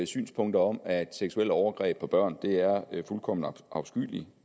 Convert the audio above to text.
synspunkter om at seksuelle overgreb på børn er fuldkommen afskyeligt